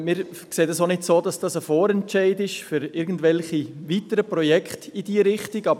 Wir sehen es auch nicht so, dass dies ein Vorentscheid für weitere Projekte in diese Richtung wäre.